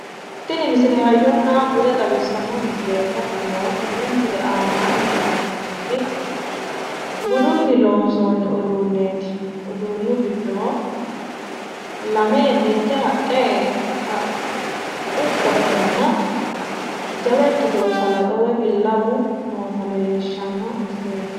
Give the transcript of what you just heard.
Tini misile hayyonna bude xawissanno misileeti. Hattono tenne misile aanaanni la'neemmoti budunni loonsoonni uduunneeti. Uduunnu giddo lame mitte haqqu qottonna jawa ikkitino salaxo woyi billawu noota xawissanno misileeti.